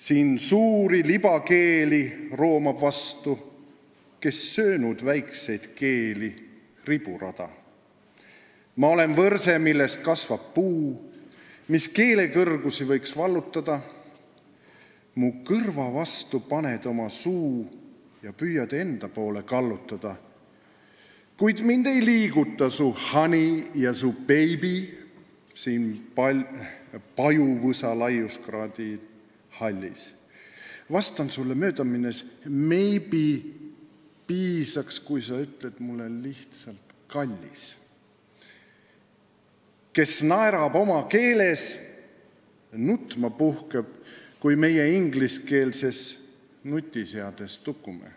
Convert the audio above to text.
Siin suuri libekeeli roomab vastu kes söönud väikseid keeli riburada Ma olen võrse millest kasvab puu mis keelekõrgusi võiks vallutada Mu kõrva vastu paned oma suu ja püüad enda poole kallutada Kuid mind ei liiguta su honey ja su baby siin pajuvõsalaiuskraadi hallis vastan sulle möödaminnes maybe piisaks kui sa ütled lihtsalt kallis Kes naerab oma keeles nutma puhkeb kui meie ingliskeelses nutiseades tukume?